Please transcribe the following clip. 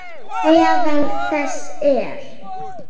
Meðal þess er